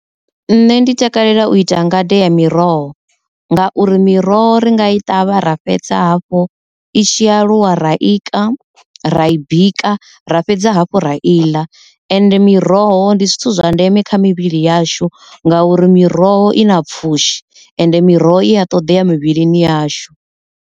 Nṋe ndi takalela u ita ngade ya miroho ngauri miroho ri nga i ṱavha ra fhedza hafhu i tshi ya lwa ra ika, ra i bika ra fhedza hafhu ra iḽa, ende miroho ndi zwithu zwa ndeme kha mivhili yashu ngauri miroho i na pfhushi ende miroho i a ṱoḓea mivhili yashu.